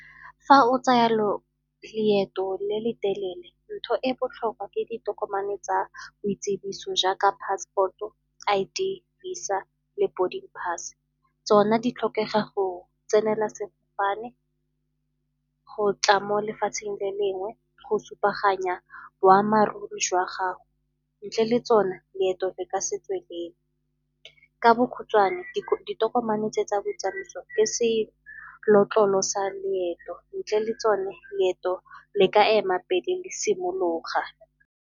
Fa o tsaya leeto le le telele, ntho e botlhokwa ke ditokomane tsa boitsibiso jaaka passport-o, I_D, VISA le boarding pass. Tsona di tlhokega go tsenela sefofane, go tla mo lefatsheng le lengwe go supa aroganya boammaaruri jwa gago. Ntle le tsona leeto le ka se tswelele. Ka bokhutshwane, ditokomane tse tsa botsamaiso le sa leeto, ntle le tsone leeto le ka ema pele le simologa.